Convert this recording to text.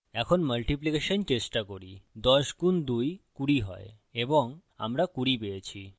এখন মাল্টিপ্লিকেশন গুণন চেষ্টা করি ১০ গুন ২ ২০ হয় এবং আমরা ২০ পেয়েছি